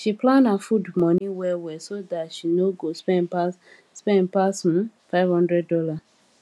she plan her food money well well so dat she nor go spend pass spend pass um five hundred dollar